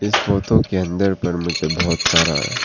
इस फोटो के अंदर पर मुझे बहुत सारा--